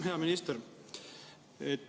Hea minister!